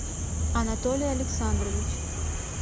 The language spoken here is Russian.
анатолий александрович